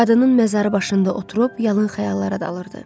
Qadının məzarı başında oturub yalan xəyallara dalırdı.